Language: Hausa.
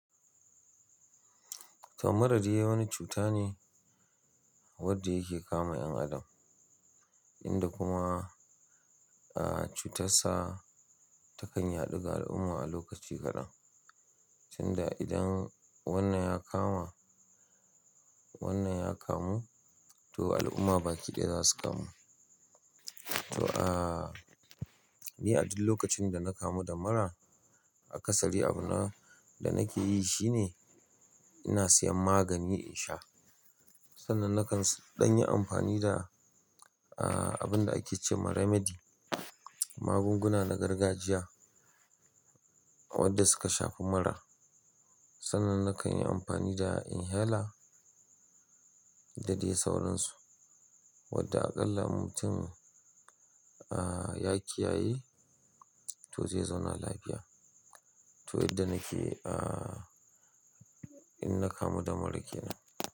To mura dai wani cuta ne wadda yake kama 'yan adam, inda kuma, ah, cutar sa ta kan yaɗu ga al'umma a lokaci kadan. Sanda idan wannan ya kama, wannan ya kamu, to al'umma baki ɗaya za su kamu. To, ah, ni a duk lokacin da na kamu da mura a ƙasari, abu na da nake yi shine ina siyan magani in sha. Sannan nakan ɗan yi amfani da, ah, abun da ake ce ma remedy, magunguna na gargajiya wadda suka shafi mura. Sannan nakan yi amfani da inhela da dai sauransu wadda aƙalla mutum, ah, ya kiyaye to zai zauna lafiya. To, yadda nake, ah, in na kamu da mura kenan.